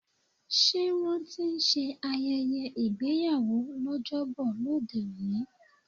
Ṣé wón ti ń ṣe ayẹyẹ ìgbéyàwó l'ojobo lóde òní?